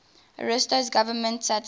ariosto's government satisfied